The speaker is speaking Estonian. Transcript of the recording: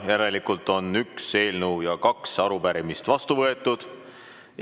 Järelikult on üks eelnõu ja kaks arupärimist vastu võetud.